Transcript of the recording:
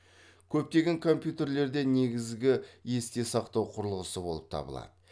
көптеген компьютерлерде негізгі есте сақтау құрылғысы болып табылады